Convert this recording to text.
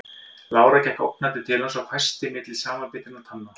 Lára gekk ógnandi til hans og hvæsti milli samanbitinna tanna